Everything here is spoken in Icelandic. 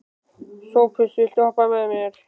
Sophus, viltu hoppa með mér?